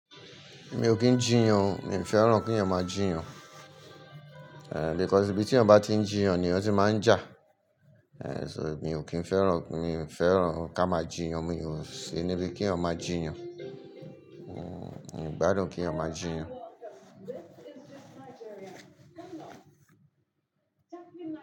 Mi ò kín jiyàn, mi ò fẹ́ràn kí ènìyàn má jiyàn. Eh, because ibi tí ọ̀ bá ti ń jiyan ni ọ̀ tí máa ń jà. Eh, so mi ò kín fẹ́ràn, mi ò fẹ́ràn ká máa jiyan, mi ò ń ṣe níbi kí ènìyàn máa jiyan. Hmm, mi ò gbádùn kí ènìyàn máa jiyan.